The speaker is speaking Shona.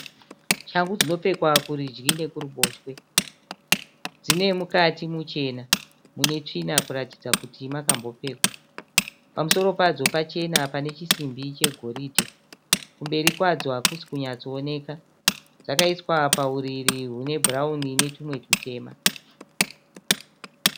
Shangu dzinopfekwa kurudyi nekuruboshwe. Dzinemukati muchena mune tsvina kuratidza kuti makambopfekwa. Pamusoro padzo pachena panechisimbi chegoridhe. Kumberi kwadzo hakusi kunyatsooneka. Dzakaiswa pauriri rwune bhurawuni inetumwe tutema.